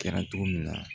Kɛra cogo min na